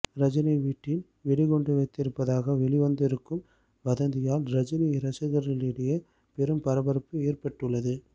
ரஜினி வீட்டில் வெடிகுண்டு வைத்திருப்பதாக வெளிவந்திருக்கும் வதந்தியால் ரஜினி ரசிகர்களிடையே பெரும் பரபரப்பு ஏற்பட்டுள்ளது